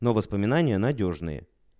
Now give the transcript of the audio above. но воспоминания надёжные